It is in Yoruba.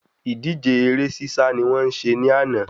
Ìdíje eré sísá ni wọ́n ṣe ní àná